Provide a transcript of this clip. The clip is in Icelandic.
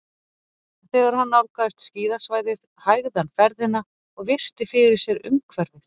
Þegar hann nálgaðist skíðasvæðið hægði hann ferðina og virti fyrir sér umhverfið.